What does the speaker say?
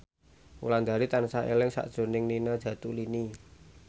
Wulandari tansah eling sakjroning Nina Zatulini